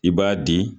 I b'a di